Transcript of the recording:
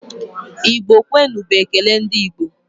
Igbo kwenu! bụ ekele ndị Igbo.